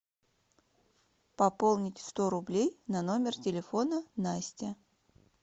пополнить сто рублей на номер телефона настя